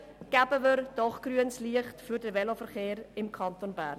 Geben wir doch grünes Licht für den Veloverkehr im Kanton Bern.